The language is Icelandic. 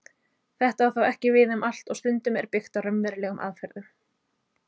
Þetta á þó ekki við um allt og stundum er byggt á raunverulegum aðferðum.